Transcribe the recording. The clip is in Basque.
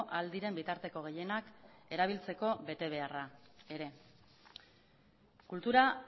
ahal diren bitarteko gehienak erabiltzeko betebeharra ere kultura